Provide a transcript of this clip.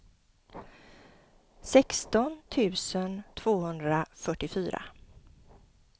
sexton tusen tvåhundrafyrtiofyra